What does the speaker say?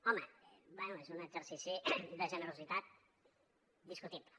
home bé és un exercici de generositat discutible